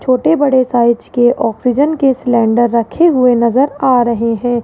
छोटे बड़े साइज के ऑक्सीजन के सिलेंडर रखे हुए नजर आ रहे है।